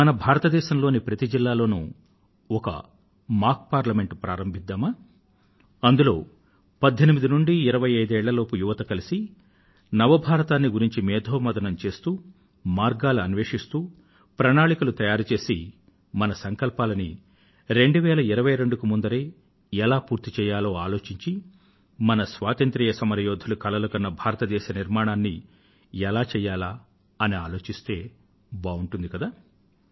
మనం భారతదేశం లోని ప్రతి జిల్లాలో ఒక మాక్ పార్లమెంట్ ను ప్రారంభిద్దామా అందులో 18 ఏళ్ల నుండీ 25 ఏళ్ళ లోపూ యువత కలిసి నవ భారతాన్ని గురించి మేథోమధనం చేస్తూ మార్గాలు అన్వేషిస్తూ ప్రణాళికలు తయారు చేసి మన సంకల్పాలను 2022 కన్నా ముందే ఎలా పూర్తి చెయ్యాలో ఆలోచించి మన స్వాతంత్ర్య సమర యోధులు కలలు కన్న భారతదేశ నిర్మాణాన్ని ఎలా చెయ్యాలా అని ఆలోచిస్తే బావుంటుంది కదా